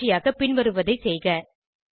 பயிற்சியாக பின்வருவதை செய்க 1